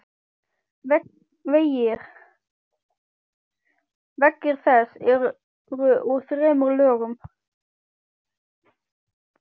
Veggir þess eru úr þremur lögum.